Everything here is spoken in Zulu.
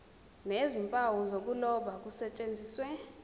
nezimpawu zokuloba kusetshenziswe